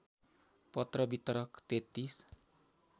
पत्र वितरक ३३